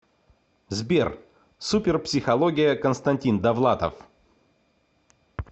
сбер супер психология констанстин довлатов